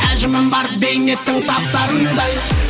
әжімім бар бейнеттің таптарындай